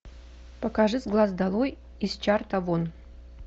покажи с глаз долой из чарта вон